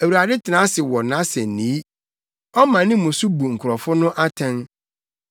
Awurade tena ase wɔ nʼasennii. Ɔma ne mu so bu nkurɔfo no atɛn.